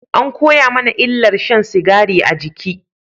An koya mana illar shan sigari a jiki